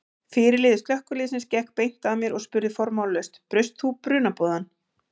Fyrirliði slökkviliðsins gekk beint að mér og spurði formálalaust: Braust þú brunaboðann?